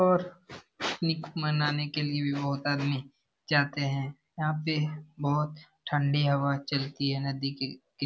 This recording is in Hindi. और निक मनाने के लिए भी बहोत आदमी जाते हैं यहाँ पे बहोत ठंडी हवा चलती है नदी के किन --